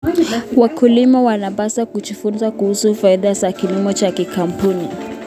Wakulima wanapaswa kujifunza kuhusu faida za kilimo cha kikaboni.